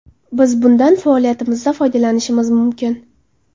Biz bundan faoliyatimizda foydalanishimiz mumkin.